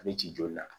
A bɛ ci joli la